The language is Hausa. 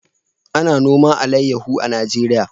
A na noman alayaho a Najeriya